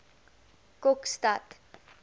kokstad